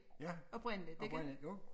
Ja oprindeligt jo